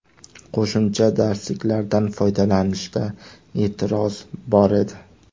Qo‘shimcha darslik¬lardan foydalanishda e’tiroz bor edi.